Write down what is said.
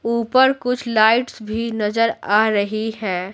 ऊपर कुछ लाइट्स भी नजर आ रही हैं।